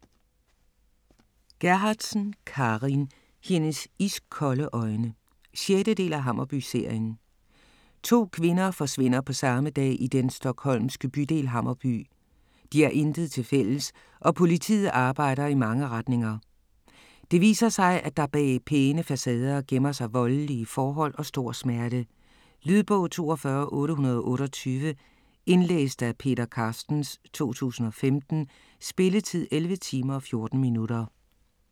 Gerhardsen, Carin: Hendes iskolde øjne 6. del af Hammarby-serien. To kvinder forsvinder på samme dag i den stockholmske bydel Hammarby. De har intet tilfælles, og politiet arbejder i mange retninger. Det viser sig, at der bag pæne facader gemmer sig voldelige forhold og stor smerte. Lydbog 42828 Indlæst af Peter Carstens, 2015. Spilletid: 11 timer, 14 minutter.